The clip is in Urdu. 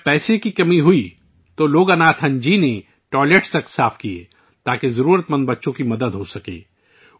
جب پیسے کی کمی تھی تو لوگناتھن جی نے بیت الخلا بھی صاف کئے تاکہ ضرورت مند بچوں کی مدد کی جا سکے